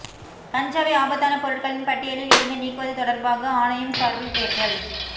கஞ்சாவை ஆபத்தான பொருட்களின் பட்டியலில் இருந்து நீக்குவது தொடர்பாக ஆணையம் சார்பில் தேர்தல்